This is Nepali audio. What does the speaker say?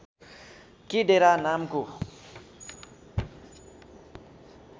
के डेरा नामको